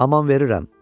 Aman verirəm.